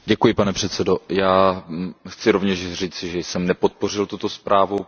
Pane předsedající, já chci rovněž říci, že jsem nepodpořil tuto zprávu.